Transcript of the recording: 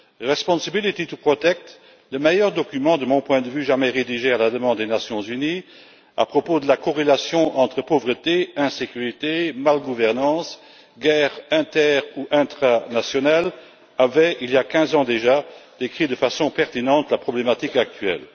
Responsibility to protect le meilleur document de mon point de vue jamais rédigé, à la demande des Nations unies, à propos de la corrélation entre pauvreté, insécurité, mauvaise gouvernance, guerre inter ou intranationale, avait il y a quinze ans déjà décrit de façon pertinente la problématique actuelle.